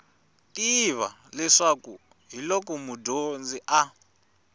tiva leswi hiloko mudyondzi a